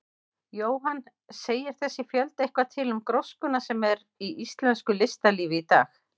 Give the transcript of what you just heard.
Jóhann: Segir þessi fjöldi eitthvað til um gróskuna sem er í íslensku listalífi í dag?